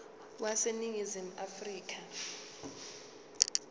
wase ningizimu afrika